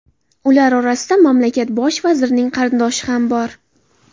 Ular orasida mamlakakt bosh vazirining qarindoshi ham bor.